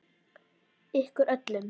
Ykkur öllum!